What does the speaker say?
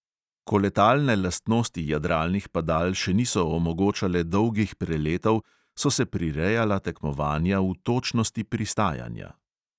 Ko letalne lastnosti jadralnih padal še niso omogočale dolgih preletov, so se prirejala tekmovanja v točnosti pristajanja.